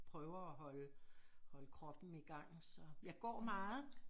Prøver at holde holde kroppen i gang så jeg går meget